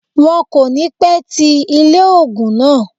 Wọn kò ní pẹ́ ti ilé ògùn náà